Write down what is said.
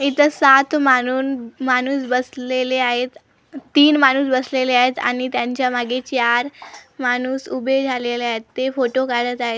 इथं सात मानून माणूस बसलेले आहेत तीन माणूस बसलेले आहेत आणि त्यांच्यामागे चार माणूस उभे झालेले आहेत ते फोटो काढत आहेत.